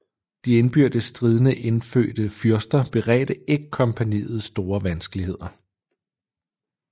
De indbyrdes stridende indfødte fyrster beredte ikke kompagniet store vanskeligheder